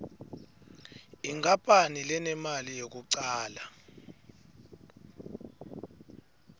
inkapani lenemali yekucala